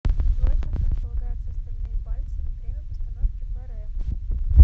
джой как располагаются остальные пальцы во время постановки баррэ